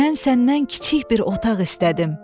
Mən səndən kiçik bir otaq istədim.